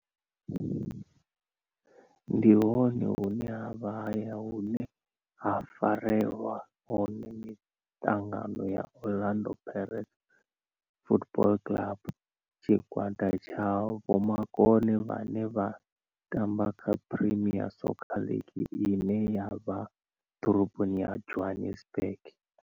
Ndi hone hune havha haya hune ha farelwa hone mitangano ya Orlando Pirates Football Club. Tshigwada tsha vhomakone vhane vha tamba kha Premier Soccer League ine ya vha ḓorobo ya Johannesburg.